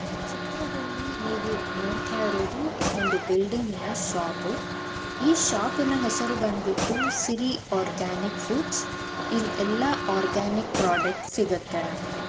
ಈ ಚಿತ್ರದಲ್ಲಿ ನೀವು ನೋಡ್ತಾ ಇರೋದು ಒಂದು ಬಿಲ್ಡಿಂಗಿನ ಶಾಪು ಈ ಶಾಪಿನ ಹೆಸರು ಬನ್ ಬಿಟ್ಟು ಸಿರಿ ಆರ್ಗಾನಿಕ್ ಫೂಡ್ಸ್ ಇಲ್ ಎಲ್ಲಾ ರೀತಿಯ ಆರ್ಗಾನಿಕ್ ಪ್ರಾಡಕ್ಟ್ ಸಿಗುತ್ತೆ ನಮಗೆ.